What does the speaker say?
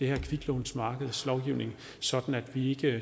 her kviklånsmarkedslovgivning sådan at vi ikke